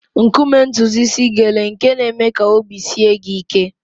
Nkume ntutu isi gele nke na-eme ka obi sie gị ike.